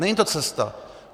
Není to cesta.